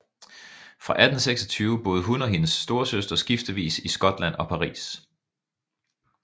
Fra 1826 boede hun og hendes storesøster skiftevis i Skotland og Paris